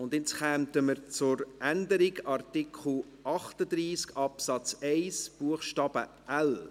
Jetzt kommen wir zur Änderung von Artikel 38 Absatz 1 Buchstabe l.